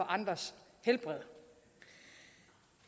andres helbred